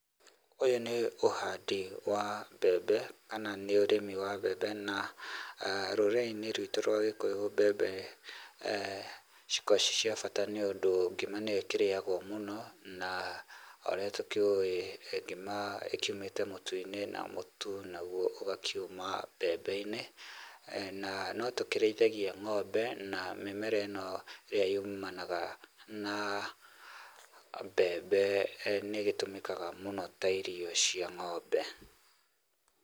Ũyũ nĩ ũhandi wa mbembe kana nĩ ũrĩmi wa mbembe na ah, rũrĩrĩinĩ ruitũ rwa gĩkũyu mbembe ciko ciĩ cia bata nĩũndũ ngima nĩyo ĩkĩrĩagwo mũno na o ũrĩa tũkĩũĩ ngima ĩkiumĩte mũtu-inĩ na mũtu naguo ũgakiuma mbembe-inĩ. Na no tũkĩrĩithagia ngombe na mĩmera ĩno ĩrĩa yumanaga na mbembe nĩ ĩgĩtũmĩkaga mũno ta irio cia ngombe.